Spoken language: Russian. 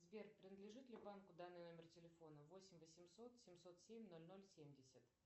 сбер принадлежит ли банку данный номер телефона восемь восемьсот семьсот семь ноль ноль семьдесят